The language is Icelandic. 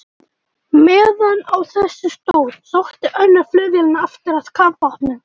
Meðan á þessu stóð, sótti önnur flugvélanna aftur að kafbátnum.